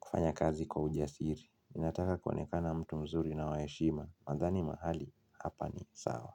kufanya kazi kwa ujasiri. Inataka kuonekana mtu mzuri na wa heshima. Nadhani mahali, hapa ni sawa.